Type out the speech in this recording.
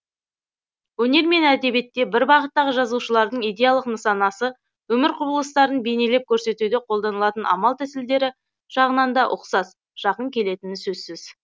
өнер мен әдебиетте бір бағыттағы жазушылардың идеялық нысанасы өмір құбылыстарын бейнелеп көрсетуде қолданылатын амал тәсілдері жағынан да ұқсас жақын келетіні сөзсіз